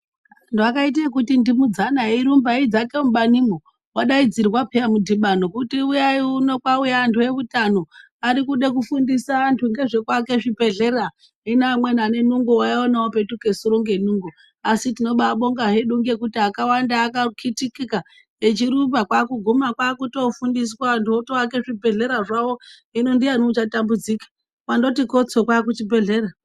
Anhu akaite eikundindimudzana eirumba eidzake mubanimwo wadaidzirwa peya mudhibano kuti uyai uno kwauye anhu eutano arikude kufundisa anhu ngezvekuake zvibhehlera hino amweni anenungo waiaona opetuke sure ngenungo asi tinobaabonga hedu ngekuti akawanda akakitikika echirumba kwakuguma anhu achitoake zvibhehlera zvawo hino ndiani uchatambudzika wandoti kotso kwaakuchibhehlera.